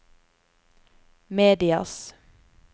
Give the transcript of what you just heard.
medias